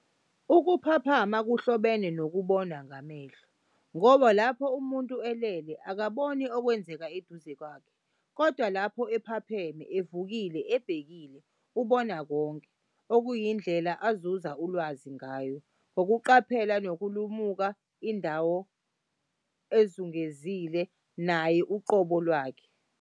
Ukuphaphama kuhlobene nokubona ngamehlo, ngoba lapho umuntu elele, akakuboni okwenzeka eduze kwakhe. Kodwa lapho ephapheme, evukile, ebhekile, ubona konke, okuyindlela azuza ulwazi ngayo, ngokuqaphela nokulumuka indawo ezungezile, naye uqobo lwakhe.